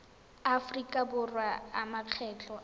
aforika borwa a makgetho a